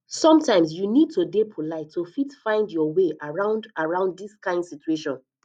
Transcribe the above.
sometimes you need to dey polite to fit find your way around around this kind situation